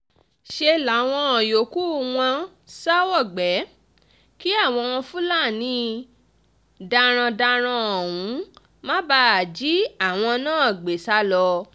ṣe làwọn yòókù wọn sá wọgbé kí àwọn fúlàní darandaran ọ̀hún má bàa jí àwọn náà gbé sá lọ